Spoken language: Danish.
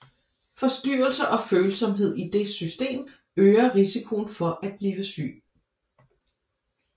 Forstyrrelser og følsomhed i det system øger risikoen for at blive syg